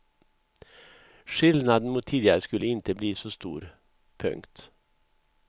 Skillnaden mot tidigare skulle inte bli så stor. punkt